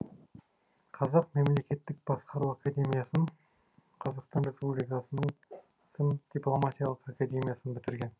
қазақ мемлекеттік басқару академиясын қазақстан республикасының сім дипломатиялық академиясын бітірген